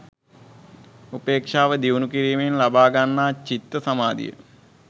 උපේක්ෂාව දියුණු කිරීමෙන් ලබා ගන්නා චිත්ත සමාධිය